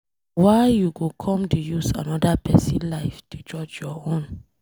Why you go come dey use anoda pesin life dey judge your own?